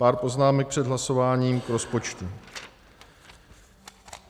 Pár poznámek před hlasováním k rozpočtu.